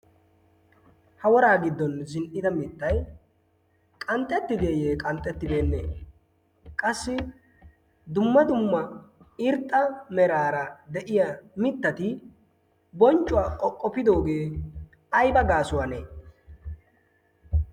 ha woraa giddon zin''ida mittai qanxxetti deeyyee qanxxettibeenne qassi dumma dumma irxxa meraara de'iya mittati bonccuwaa qoqqopidoogee aiba gaasuwaanee